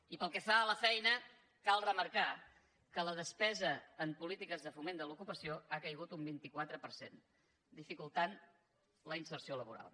i pel que fa a la feina cal remarcar que la despesa en polítiques de foment de l’educació ha caigut un vint quatre per cent i ha dificultat la inserció laboral